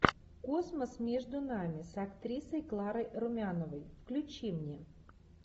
космос между нами с актрисой кларой румяновой включи мне